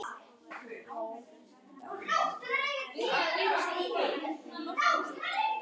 Jórdan getur einnig átt við